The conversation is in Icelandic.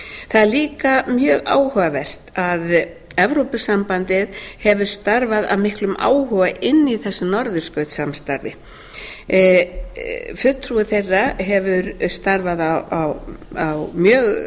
það er líka mjög áhugavert að evrópusambandið hefur starfað af miklum áhuga inni í þessu norðurskautssamstarfi fulltrúi þeirra hefur starfað mjög